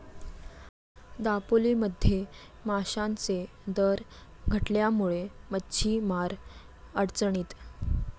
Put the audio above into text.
दापोलीमध्ये माशांचे दर घटल्यामुळे मच्छीमार अडचणीत